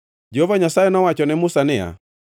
Jehova Nyasaye nowacho ne Musa niya,